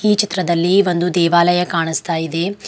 ಈ ಚಿತ್ರದಲ್ಲಿ ಒಂದು ದೇವಾಲಯ ಕಾಣಿಸ್ತಾ ಇದೆ.